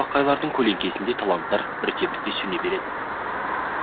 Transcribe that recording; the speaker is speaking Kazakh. ал ондай шатпақайлардың көлеңкесінде таланттар бірте бірте сөне береді